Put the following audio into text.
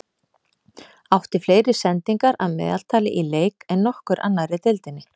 Átti fleiri sendingar að meðaltali í leik en nokkur annar í deildinni.